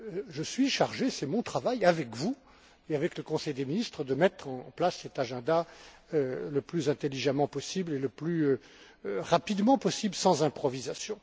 Je suis chargé, c'est mon travail, avec vous et avec le Conseil des ministres, de mettre en place cet agenda le plus intelligemment et le plus rapidement possible, sans improvisation.